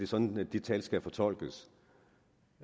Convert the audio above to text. sådan det tal skal fortolkes